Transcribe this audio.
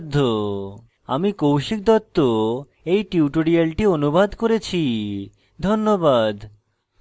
আমি কৌশিক দত্ত এই টিউটোরিয়ালটি অনুবাদ করেছি ধন্যবাদ